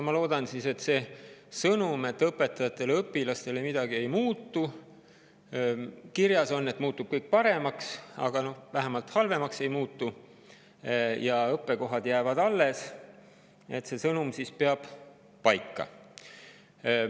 Ma loodan, et see sõnum, et õpetajate ja õpilaste jaoks midagi ei muutu – kirjas on, et kõik muutub paremaks –, vähemalt halvemaks ei muutu ja õppekohad jäävad alles, peab paika.